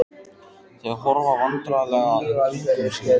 Þau horfa vandræðalega í kringum sig.